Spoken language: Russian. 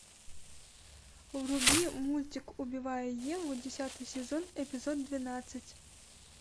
вруби мультик убивая еву десятый сезон эпизод двенадцать